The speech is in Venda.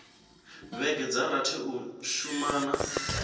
vhege dza rathi u shumana